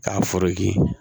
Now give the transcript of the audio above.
K'a